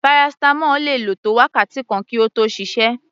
Paracetamol le lò tó wákàtí kan kí ó tó ṣiṣẹ́.